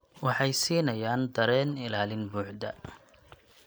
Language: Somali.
Waxay siinayaan dareen ilaalin buuxda.